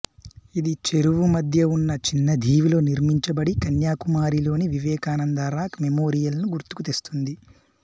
ఇది చెరువు మధ్య ఉన్న చిన్న దీవిలో నిర్మించబడి కన్యాకుమారిలోని వివేకానంద రాక్ మెమోరియల్ ను గుర్తుకు తెస్తుంది